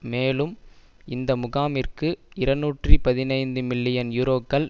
மேலும் இந்த முகாமிற்கு இருநூற்றி பதினைந்து மில்லியன் யூரோக்கள்